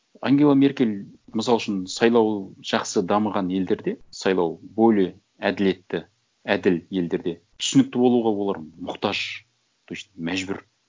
ангела меркель мысал үшін сайлау жақсы дамыған елдерде сайлау более әділетті әділ елдерде түсінікті болуға олар мұқтаж то есть мәжбүр